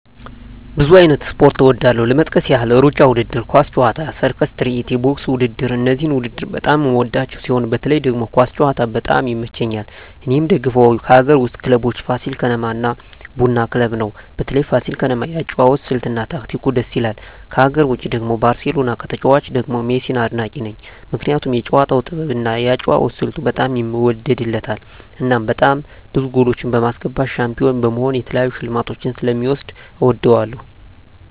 ብዙ አይነት ስፖርት እወዳለሁ ለመጥቀስ ያህል እሩጫ ውድድር፣ ኳስ ጨዋታ፣ የሰርከስ ትርኢት፣ ቦክስ ውድድር እነዚህን ውድድር በጣም የምወዳቸው ሲሆን በተለይ ደግሞ ኳስ ጨዋታ በጣም ይመቸኛል እኔ የምደግፈው ከአገር ውስጥ ክለቦች ፋሲል ከነማ እና ቡና ክለብ ነው በተለይ ፋሲል ከነማ የአጨዋወት ስልት እና ታክቲኩ ድስ ይላል ከሀገር ውጭ ደግሞ ባርሴሎና ከተጫዋቾቹ ደግሞ ሜሲን አድናቂ ነኝ ምክንያቱም የጨዋታው ጥበብ እና የአጨዋወት ስልቱ በጣም ይወደድለታል እናም በጣም ብዙ ጎሎች በማስገባት ሻንፒሆን በመሆን የተለያዩ ሽልማቶችን ስለ ሚወስድ እወደዋለሁ።